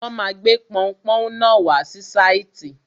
Wọ́n ma gbé pọunpọ́ún náà wá sí sáìtì.